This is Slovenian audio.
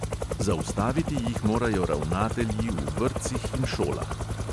Zaustaviti jih morajo ravnatelji v vrtcih in šolah ...